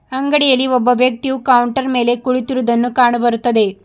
ಅಂಗಡಿಯಲ್ಲಿ ಒಬ್ಬ ವ್ಯಕ್ತಿಯು ಕೌಂಟರ್ ಮೇಲೆ ಕುಳಿತಿರುವುದನ್ನು ಕಾಣ ಬರುತ್ತದೆ.